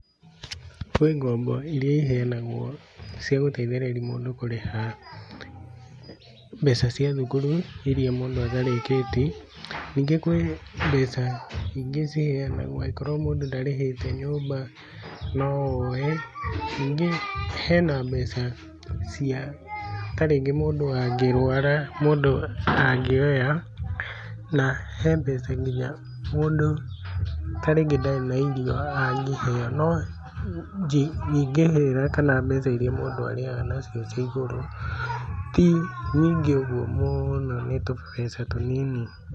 Kwĩ ngombo iria iheanagwo cia gũteithĩrĩria mũndũ kũrĩha mbeca cia thukuru iria mũndũ atarĩkĩtie, ningĩ kwĩ mbeca ingĩ ciheanagwo angĩkorwo mũndũ ndarĩhĩte nyũmba no woe. Ningĩ hena mbeca cia ta rĩngĩ mũndũ angĩrwara mũndũ angĩoya, na he mbeca nginya mũndũ ta rĩngĩ ndarĩ na irio angĩheo. No nyingĩrĩra kana mbeca iria mũndũ arĩhaga nacio cia igũrũ, ti nyingĩ ũguo mũno nĩ tũbeca tũnini.